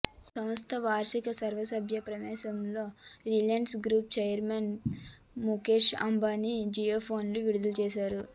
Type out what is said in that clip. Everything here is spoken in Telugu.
సంస్థ వార్షిక సర్వసభ్య సమావేశంలో Reliance group chairman Mukesh Ambani జియోఫోన్ను విడుదల చేసారు